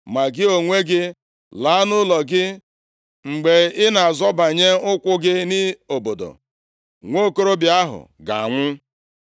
“Ma gị onwe gị, Laa nʼụlọ gị. Mgbe ị na-azọbanye ụkwụ gị nʼobodo, nwokorobịa ahụ ga-anwụ.